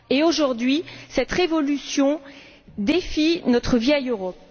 Aujourd'hui cette révolution défie notre vieille Europe.